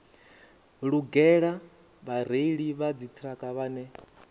lugela vhareili vha dziṱhirakha vhane